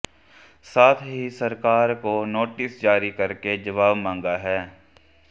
साथ ही सरकार को नोटिस जारी करके जवाब मांगा है